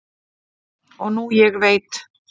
og nú ég veit